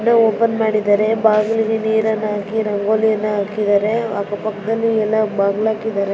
Open ಮಾಡಿದ್ದಾರೆ ಬಾಗಿಲಿಗೆ ನೀರನ್ನ ಹಾಕಿ ರಂಗೋಲಿಯನ್ನ ಹಾಕಿದ್ದಾರೆ ಅಕ್ಕ ಪಕ್ಕದಲ್ಲಿ ಎಲ್ಲಾ ಬಾಗಲ್ ಹಾಕಿದಾರೆ.